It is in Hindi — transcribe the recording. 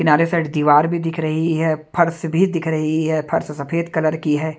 किनारे साइड दीवार भी दिख रही है फर्श भी दिख रही है फर्श सफेद कलर की है।